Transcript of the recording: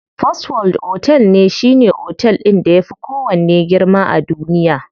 First world otel shine otel ɗin da yafi kowanne girma a duniya.